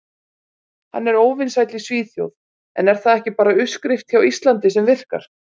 Hann er óvinsæll í Svíþjóð en er það ekki bara uppskrift hjá Íslandi sem virkar?